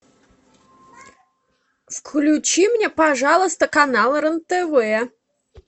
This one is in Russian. включи мне пожалуйста канал рен тв